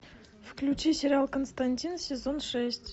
включи сериал константин сезон шесть